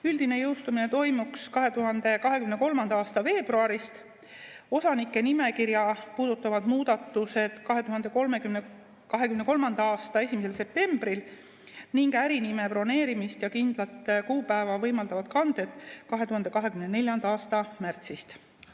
Üldine jõustumine toimuks 2023. aasta veebruarist, osanike nimekirja puudutavad muudatused 2023. aasta 1. septembril ning ärinime broneerimist ja kindlat kuupäeva võimaldavad kanded 2024. aasta märtsist.